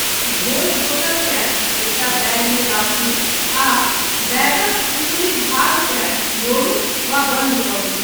धोल बोतलकेँ एकटा बैगमे राखू आ बैगक ऊपरी भागकेँ मोड़ू वा बन्द करू।